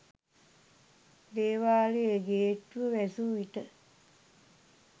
දේවාලයේ ගේට්ටුව වැසූවිට